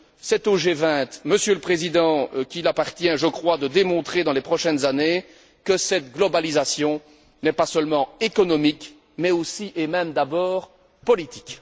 C'est au G20, Monsieur le Président, qu'il appartient, je crois, de démontrer dans les prochaines années que cette globalisation n'est pas seulement économique mais aussi, et même d'abord, politique.